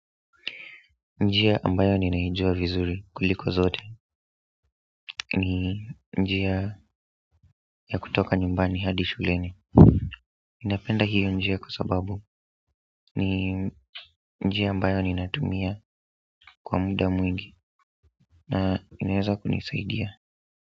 Njia ambayo ninaijua vizuri kuliko zote ni njia ya kutoka nyumbani hadi shuleni napenda hiyo njia kwa sababu ni njia ambayo ninatumia kwa muda mwingi na inaeza kunisaidia.